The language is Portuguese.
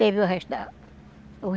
Teve o resto dela. O